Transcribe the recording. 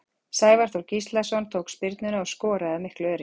Sævar Þór Gíslason tók spyrnuna og skoraði af miklu öryggi.